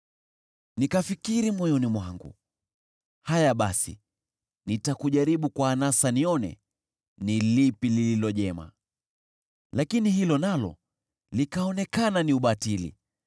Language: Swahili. Nikafikiri moyoni mwangu, “Haya basi, nitakujaribu kwa anasa nione ni lipi lililo jema.” Lakini hilo nalo likaonekana ni ubatili.